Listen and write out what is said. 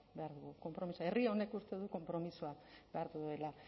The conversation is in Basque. behar dugu konpromiso herri honek uste du konpromisoa behar duela